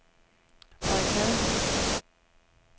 Baikal